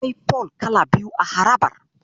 Akwai fol kala biyu a harabar.